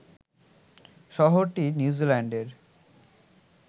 শহরটি নিউজিল্যান্ডের